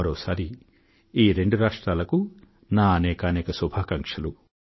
మరోసారి ఈ రెండు రాష్ట్రాలకూ నా అనేకానేక శుభాకాంక్షలు